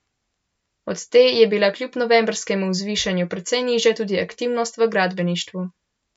Od te je bila kljub novembrskemu zvišanju precej nižja tudi aktivnost v gradbeništvu.